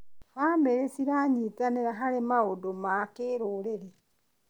Bamĩrĩ ciranyitanĩra harĩ maũndũ ma kĩrũrĩrĩ.